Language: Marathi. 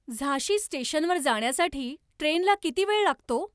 झांशी स्टेशनवर जाण्यासाठी ट्रेनला किती वेळ लागतो